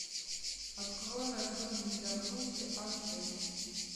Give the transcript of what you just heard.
открой рожденный для грусти аш д